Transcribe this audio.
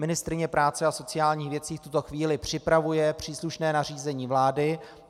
Ministryně práce a sociálních věcí v tuto chvíli připravuje příslušné nařízení vlády.